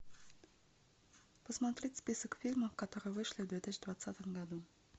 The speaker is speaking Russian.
посмотреть список фильмов которые вышли в две тысячи двадцатом году